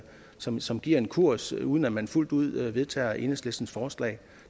som som giver en kurs uden at man fuldt ud vedtager enhedslistens forslag